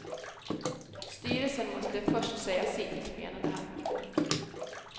Styrelsen måste först säga sitt, menade han.